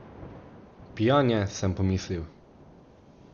Pijan je, sem pomislil.